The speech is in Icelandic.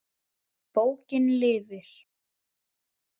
Bókin lifir.